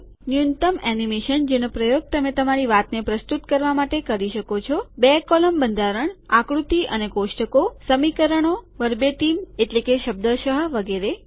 ન્યૂનતમ એનિમેશન જેનો પ્રયોગ તમે તમારી વાતને પ્રસ્તુત કરવા માટે ઉપયોગ કરી શકો છો બે કોલમ સ્તંભ બંધારણ આકૃતિ ફીગર્સ અને કોષ્ટકો ટેબલ સમીકરણો વર્બેટીમ એટલે કે શબ્દશઃ વગેરે